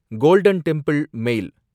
golden temple மேல்